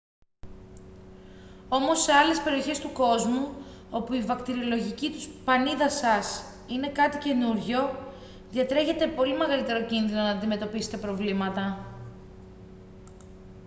όμως σε άλλες περιοχές του κόσμου όπου η βακτηριολογική πανίδα σας είναι κάτι καινούργιο διατρέχετε πολύ μεγαλύτερο κίνδυνο να αντιμετωπίσετε προβλήματα